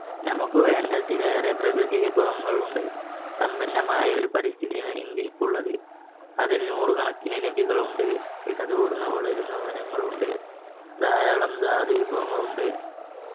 നമുക്ക് വേണ്ടതിലേറെ പ്രകൃതി വിഭവങ്ങൾ ഉണ്ട് സമ്പന്നമായ ഒരു പരിസ്ഥിതിയാണ് ഇന്ത്യക്കുള്ളത് അത് നൂറുകണക്കിന് നദികൾ ഉണ്ട് ഇടതോറുന്ന വളരുന്ന വനങ്ങൾ ഉണ്ട് ധാരാളം ധാധി വിഭവങ്ങൾ ഉണ്ട്